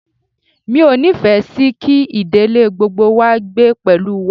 Mi ò nífẹ̀ẹ́ sì kí ìdílé gbogbo wá gbé pẹ̀lú wa.